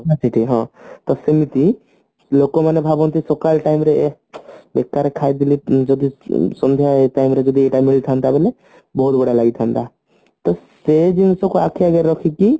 ହଁ ସେମିତି ଲୋକମାନେ ଭାବନ୍ତି ସକାଳ time ରେ ବେକାର ଖାଇଦେଲି ଯଦି ସନ୍ଧ୍ୟାବେଳ time ରେ ଯଦି ଏଟା ମିଳିଥାନ୍ତି ବେଲେ ବହୁତ ବଢିଆ ଲାଗିଥାନ୍ତା ସେ ଜିନିଷକୁ ଆଖି ଆଗରେ ରଖିକି